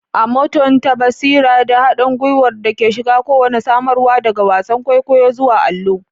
A mutunta basira da haɗin gwiwar da ke shiga kowane samarwa, daga wasan kwaikwayo zuwa allo.